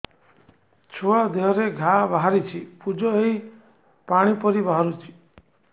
ଛୁଆ ଦେହରେ ଘା ବାହାରିଛି ପୁଜ ହେଇ ପାଣି ପରି ବାହାରୁଚି